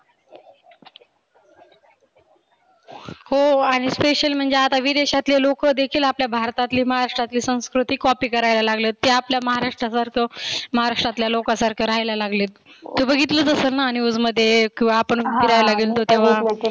हो आणि special म्हणजे विदेशातील लोक देखील आपल्या भारतातली महाराष्ट्रातील संस्कृती copy करायला लागले. ते आपल्या महाराष्ट्रासारख महाराष्ट्रातल्या लोका सारख रहायला लागले. तु बघितलच असेल ना news मध्ये किंवा आपण फिरायला गेलतो तेव्हा